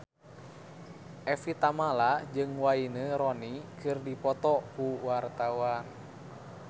Evie Tamala jeung Wayne Rooney keur dipoto ku wartawan